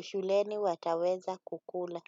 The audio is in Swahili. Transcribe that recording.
shuleni wataweza kukula.